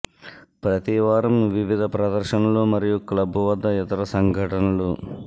ప్రతి వారం వివిధ ప్రదర్శనలు మరియు క్లబ్ వద్ద ఇతర సంఘటనలు